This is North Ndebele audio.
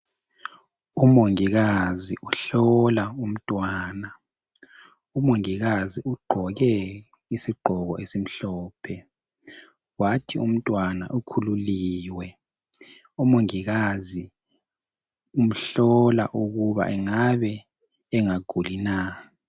uMongikazi uhlola umntwana umongikazi ugqoke isigqoko esimhlophe kwathi umntwana ukhululiwe umongikazi umhlola ukuba engabe engaguli na